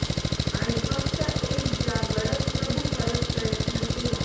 आणि फक्त एक ज्या गडद प्रभु परत प्रयत्न केला